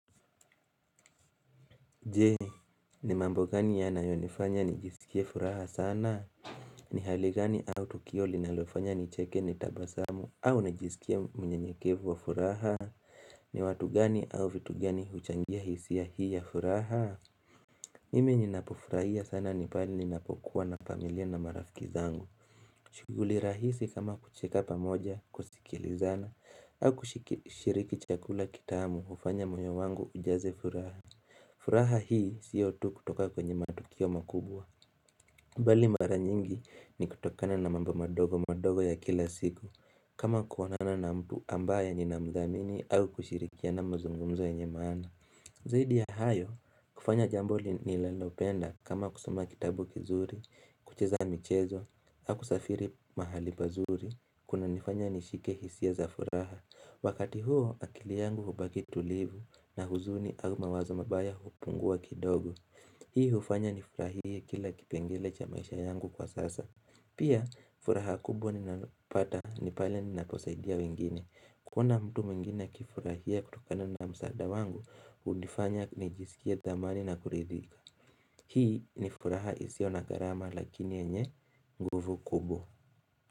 Jee, ni mambo gani yanayonifanya nijisikie furaha sana? Ni hali gani au tukio linalofanya nicheke nitabasamu au nijisikie mnyenyekevu wa furaha? Ni watu gani au vitu gani huchangia hisia hii ya furaha? Mimi ninapofurahia sana ni pahali ninapokuwa na familia na marafiki zangu. Shuguli rahisi kama kucheka pamoja kusikilizana au kushiriki chakula kitaamu hufanya moyo wangu ujaze furaha. Furaha hii sio tu kutoka kwenye matukio makubwa mbali mara nyingi ni kutokana na mambo madogo madogo ya kila siku kama kuonana na mtu ambaye ninamdhamini au kushirikiana mzungumzo yenye maana Zaidi ya hayo kufanya jambo ninalopenda kama kusoma kitabu kizuri kucheza michezo hau kusafiri mahali pazuri kunanifanya nishike hisia za furaha Wakati huo akili yangu hubaki tulivu na huzuni au mawazo mabaya hupungua kidogo Hii hufanya nifurahie kila kipengele cha maisha yangu kwa sasa Pia furaha kubwa ninapata ni pale ninaposaidia wengine kuona mtu mwengine akifurahia kutokana na msaada wangu hunifanya nijisikie thamani na kuridhika Hii nifuraha isio na gharama lakini enye nguvu kubwa.